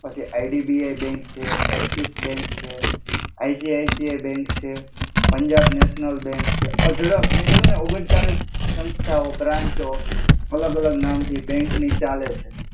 પછી IDBI bank છે, Axis bank છે, આઇજેઐસી બેંક છે, પંજાબ નેશનલ છે, અઢડાક મે કિધૂ ને ઓગણ્ચાલિશ સંસ્થઓ બ્રાંચો અલ્ગ અલ્ગ નામ થી બેંક ની ચાલે છે.